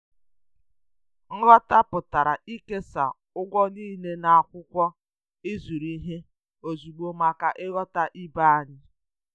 Nghọta pụtara ịkesa ụgwọ niile na akwụkwọ ịzụrụ ihe ozugbo maka nghọta ibe anyị.